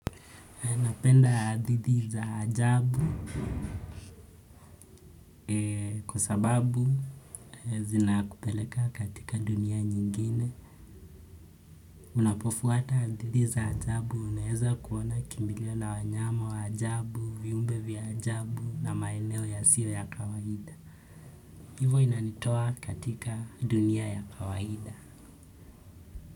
Napenda hadithi za ajabu kwa sababu zinakupeleka katika dunia nyingine. Unapofuata haithi za ajabu, unaweza kuona kimbilio la wanyama wa ajabu, viumbe vya ajabu na maeneo yasiyo ya kawaida. Hivo inanitoa katika dunia ya kawaida.